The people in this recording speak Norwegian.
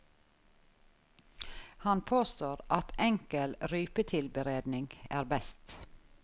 Han påstår at enkel rypetilberedning er best.